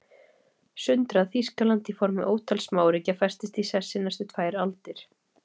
Sundrað Þýskaland í formi ótal smáríkja festist í sessi næstu tvær aldir.